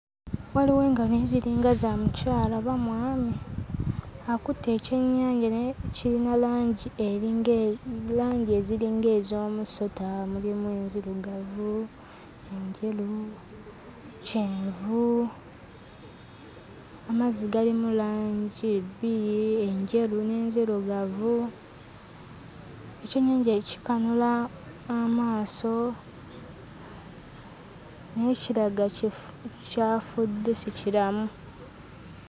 Waliwo engalo naye ziringa za mukyala, oba mwami? Akutte ekyennyanja naye kirina langi eringa langi eziringa ez'omusota; mulimu enzirugavu, enjeru, kyenvu, amazzi galimu langi bbiri: enjeru n'enzirugavu. Ekyennyanja kikanula amaaso naye kiraga kifu, kyafudde si kiramu.